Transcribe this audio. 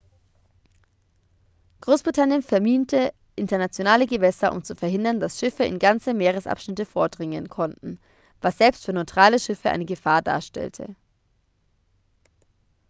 großbritannien verminte internationale gewässer um zu verhindern dass schiffe in ganze meeresabschnitte vordringen konnten was selbst für neutrale schiffe eine gefahr darstellte